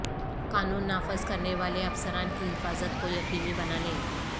قانون نافذ کرنے والے افسران کی حفاظت کو یقینی بنانے